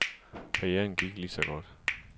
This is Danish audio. Karrieren gik lige så godt.